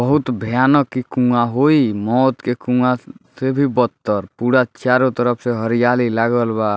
बहुत भयानक इ कुँवा होई मौत के कुँवा से भी बत्तर पूरा चारों तरफ से हरियाली लागल बा।